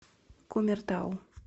кумертау